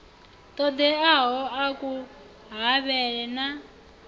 ṱoḓeaho a ku havhele na